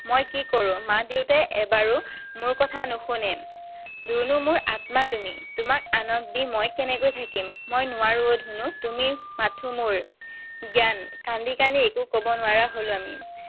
মই কি কৰো? মা দেউতাই এবাৰো মোৰ কথা নুশুনে। ধুনু, মোৰ আত্মা তুমি। তোমাক আনক দি মই কেনেকৈ থাকিম? মই নোৱাৰো অ' ধুনু। তুমি মাথো মোৰ, জ্ঞান। কান্দি কান্দি একো কব নোৱাৰা হলো আমি।